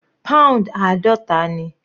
Pound àádọta ni.